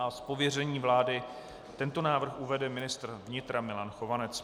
Z pověření vlády tento návrh uvede ministr vnitra Milan Chovanec.